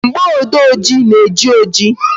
Mgboode oji na-eji oji